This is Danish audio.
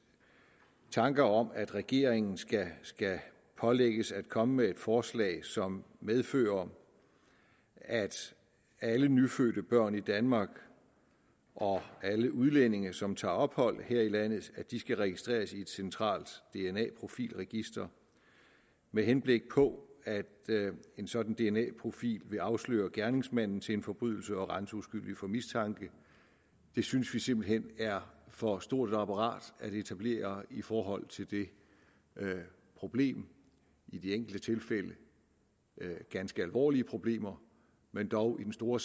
tanker om at regeringen skal pålægges at komme med et forslag som medfører at alle nyfødte børn i danmark og alle udlændinge som tager ophold her i landet skal registreres i et centralt dna profil register med henblik på at en sådan dna profil vil afsløre gerningsmanden til en forbrydelse og rense uskyldige for mistanke synes vi simpelt hen er for stort et apparat at etablere i forhold til det problem i de enkelte tilfælde ganske alvorlige problemer men dog i den store